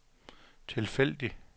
tilfældig